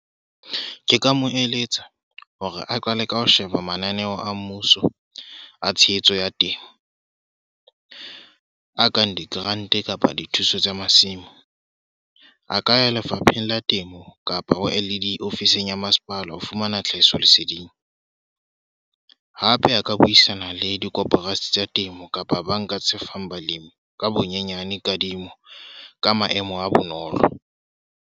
Ke ka mo eletsa hore a qale ka ho sheba mananeo a mmuso, a tshehetso ya temo. A kang di-grant kapa dithuso tsa masimo. A ka ya Lefapheng la Temo kapa ho L_E_D ofising ya masepala, ho fumana tlhahisoleseding. Hape a ka buisana le dikoporasi tsa temo kapa banka tse fang balemi ka bonyenyane kadimo ka maemo a bonolo.